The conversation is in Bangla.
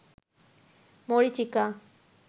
মরীচিকা